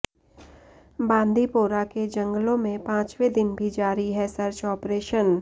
बांदीपोरा के जंगलों में पांचवें दिन भी जारी है सर्च ऑपरेशन